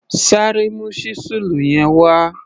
Sáré mu ṣísẹ́ẹ̀lì yẹn wá!